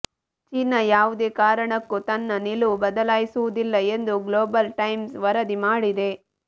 ಚೀನ ಯಾವುದೇ ಕಾರಣಕ್ಕೂ ತನ್ನ ನಿಲುವು ಬದಲಿಸುವುದಿಲ್ಲ ಎಂದು ಗ್ಲೋಬಲ್ ಟೈಮ್ಸ್ ವರದಿ ಮಾಡಿದೆ